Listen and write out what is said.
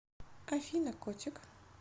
афина котик